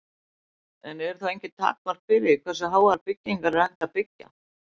En eru þá engin takmörk fyrir því hversu háar byggingar er hægt að byggja?